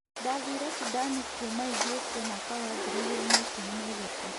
Ndathiire Sudan kuuma Ethiopia mwaka wa ngiri igĩrĩ na ikũmi na ithatũ.